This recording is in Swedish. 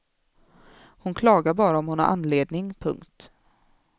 Hon klagar bara om hon har anledning. punkt